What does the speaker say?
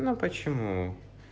ну почему